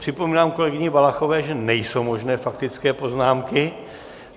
Připomínám kolegyni Valachové, že nejsou možné faktické poznámky.